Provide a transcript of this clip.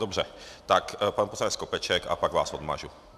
Dobře, tak pan poslanec Skopeček a pak vás odmažu.